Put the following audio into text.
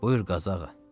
Buyur Qazağa.